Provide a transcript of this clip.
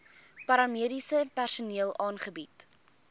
paramediese personeel aangebied